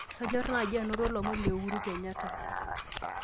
kanyor naaji anoto lomon le Uhuru Kenyatta